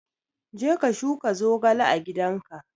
Je ka shuka zogale a gidanka!